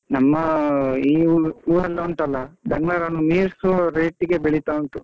ನಮ್ಮ ಈ ಬಿಸ್ಲು ಇದು ಒಂದು ಉಂಟಲ್ಲ ಎಲ್ಲರನ್ನೂ ಮೀರ್ಸೊ rate ಇಗೆ ಬೆಳಿತಾ ಉಂಟು.